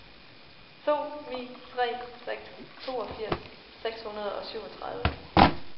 to ni tre seks toogfirs seks hundrede og syvogtredive